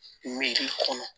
kɔnɔ